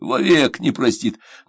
во век не простит